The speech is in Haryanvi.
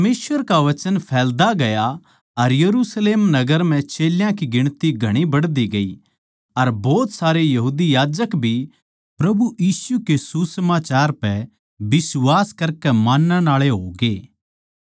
परमेसवर का वचन फैलदा गया अर यरुशलेम नगर म्ह चेल्यां की गिणती घणी बढ़दी गई अर भोत सारे यहूदी याजक भी प्रभु यीशु के सुसमाचार पै बिश्वास करकै मानणआळे होगे